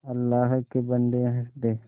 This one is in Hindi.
अल्लाह के बन्दे हंस दे